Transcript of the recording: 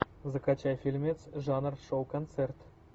закачай фильмец жанр шоу концерт